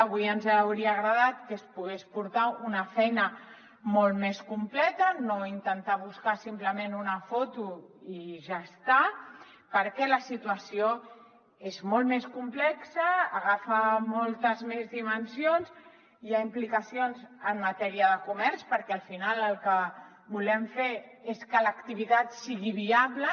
avui ens hauria agradat que es pogués portar una feina molt més completa no intentar buscar simplement una foto i ja està perquè la situació és molt més complexa agafa moltes més dimensions hi ha implicacions en matèria de comerç perquè al final el que volem fer és que l’activitat sigui viable